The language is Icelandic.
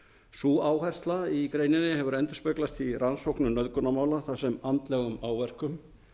sú áhersla í greininni hefur endurspeglast í rannsóknum nauðgunarmála þar sem andlegum áverkum